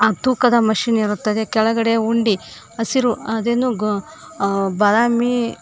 ಆ ತೂಕದ ಮಷೀನ್ ಇರುತ್ತದೆ ಕೆಳಗಡೆ ಉಂಡಿ ಹಸಿರು ಅದೇನೋ ಗ ಅ ಬದಾಮಿ --